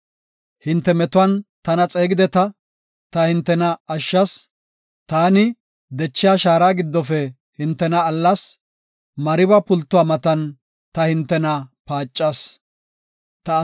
Hinte metuwan tana xeegideta; ta hintena ashshas; taani dechiya shaara giddofe hintena allas; Mariba pultuwa matan ta hintena paacas.” Salaha